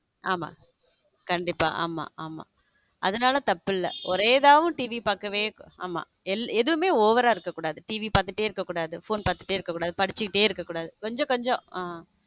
ஆமா கண்டிப்பா ஆமா ஆமா அதனால தப்பு இல்ல ஒரே தான் TV பார்க்கவே எதுவுமே over இருக்க கூடாது TV பாத்துட்டு இருக்க கூடாது phone பாத்துட்டே இருக்க கூடாது படிச்சுக்கிட்டே இருக்க கூடாது கொஞ்சம் கொஞ்சம்.